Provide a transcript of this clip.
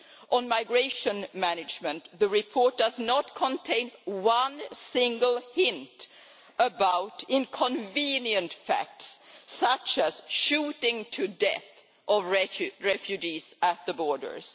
On migration management, the report does not contain one single hint about inconvenient facts such as the shooting to death of refugees at the borders.